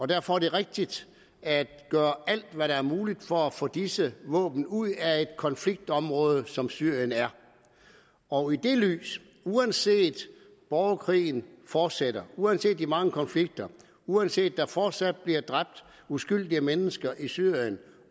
derfor er det rigtigt at gøre alt hvad der er muligt for at få disse våben ud af et konfliktområde som syrien er og i det lys uanset borgerkrigen fortsætter uanset de mange konflikter uanset der fortsat bliver dræbt uskyldige mennesker i syrien